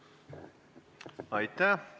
Aitäh!